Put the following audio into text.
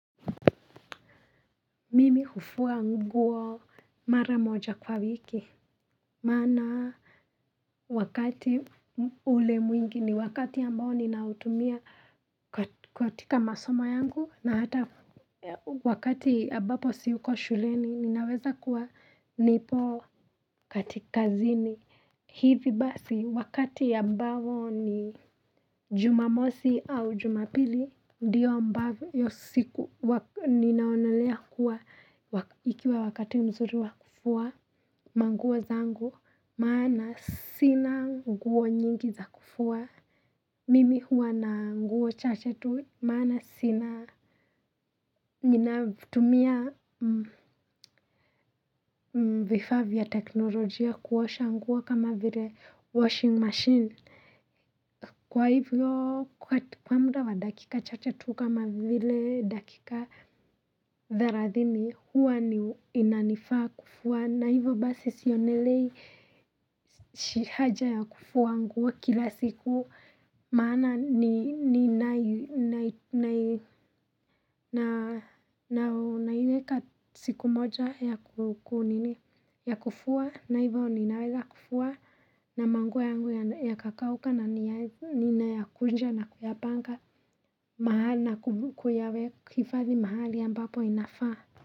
Mimi hufua nguo mara moja kwa wiki maana wakati ule mwingi ni wakati ambao ninautumia katika masomo yangu na hata wakati ambapo siko shuleni ninaweza kuwa nipo kazini. Hivi basi wakati ambao ni jumamosi au jumapili, ndiyo ambavyo hiyo siku huwaga ninaonelea kuwa ikiwa wakati mzuri wa kufua manguo zangu maana sina nguo nyingi za kufua. Mimi huwa na nguo chache tu maana sina. Ninatumia vifaa vya teknolojia kuosha nguo kama vile 'washing machine' kwa hivyo, kwa muda wa dakika chache tu kama vile dakika thelathini, huwa inanifaa kufua na hivyo basi sionelei haja ya kufua nguo kila siku maana ni naiweka siku moja ya kunini, ya kufua, na hivyo ninaweza kufua na manguo yangu yakakauka ninayakunja na kuyapanga maana kubuko yawe kuhifadhi mahali ambapo inafaa.